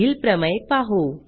पुढील प्रमेय पाहू